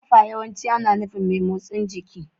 Kafa yawanci ana nufin mai motsin jiki.